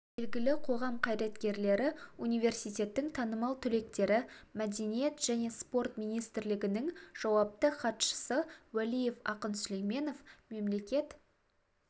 белгілі қоғам қайраткерлері университеттің танымал түлектері мәдениет және спорт министрлігінің жауапты хатшысы уәлиев ақын сүлейменов мемлекет